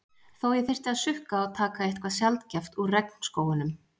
Þó ég þyrfti að sukka og taka eitthvað sjaldgæft úr regnskógunum.